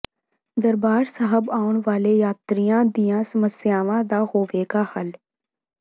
ਦਰਬਾਰ ਸਾਹਿਬ ਆਉਣ ਵਾਲੇ ਯਾਤਰੀਆਂ ਦੀਆਂ ਸਮੱਸਿਆਵਾਂ ਦਾ ਹੋਵੇਗਾ ਹੱਲ